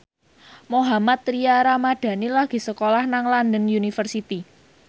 Mohammad Tria Ramadhani lagi sekolah nang London University